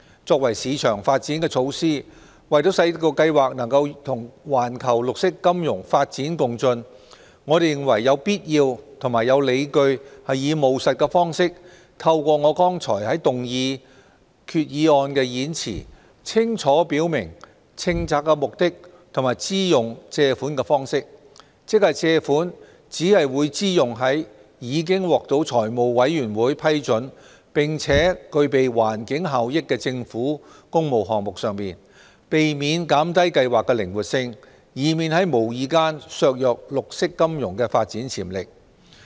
作為市場發展措施，為使計劃能與環球綠色金融發展共進，我們認為有必要及理據以務實的方式，透過我剛才在動議決議案的演辭，清楚表明政策目的，及支用借款的方式，即借款只會支用在已獲財務委員會批准並具備環境效益的政府工務項目上，避免減低計劃的靈活性，以免在無意間削弱綠色金融的發展潛力。